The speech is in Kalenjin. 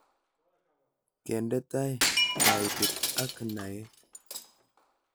Kende tai kaitet ak naet